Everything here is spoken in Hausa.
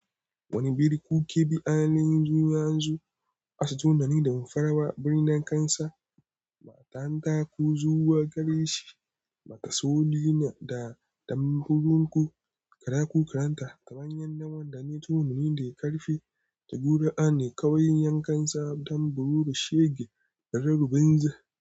Wani birni ju ke bi'a al'an yun yanzu, asu tunani da mafarawa birnin kansa. Matan ta ku zuwa gare shi, maka sauli na da damfurin ku, kara ku karanta ka bayan nan wanda ne tunani da ya karfe da gudu a ne kawai yankansa don bururu shege da rarrubin za.